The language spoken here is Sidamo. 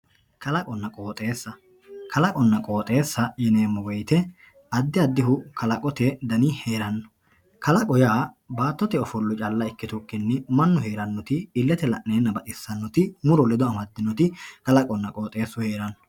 Kalaqonna qooxxeessa, kalaqonna qooxxeessa yineemo woyite adi adihu kalqotte dani heerano kalaqo yaa baattotte offolla calla ikkitukkinni manu heeranoti illete la'neenna baxxisanoti muro ledo amadinoti kalaqunna qooxxeessu heeranno